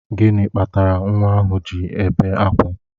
Gịnị kpatara nwa ahụ ji na-ebe akwa?